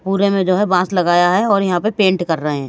पूरे में जो है बांस लगाया है और यहां पे पेंट कर रहे हैं।